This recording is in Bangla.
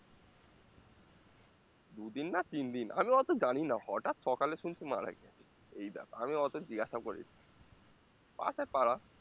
দু দিন না তিন দিন আমি অত জানিনা হটাৎ সকালে শুনছি মারা গিয়েছে এই ব্যাপার আমি অত জিজ্ঞাসাও করিনি পাশে পাড়া